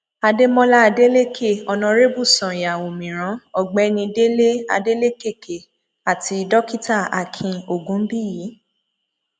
àdèmólà adélèké onàrèbù ṣànya òmíràn ọgbẹni délé adélèkéké àti dókítà akin ògúnbíyí